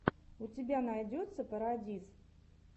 у тебя найдется парадиз